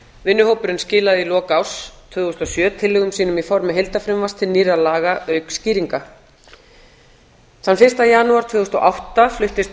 vinnuhópurinn skilaði í lok árs tvö þúsund og sjö tillögum sínum í formi heildarfrumvarps til nýrra laga auk skýringa þann fyrsta janúar tvö þúsund og átta fluttist